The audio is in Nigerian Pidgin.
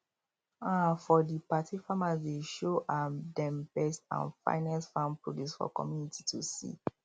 um for di party farmers dey show um dem best and finest farm produce for community to see